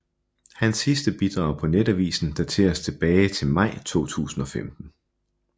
Hans sidste bidrag på netavisen dateres tilbage til maj 2015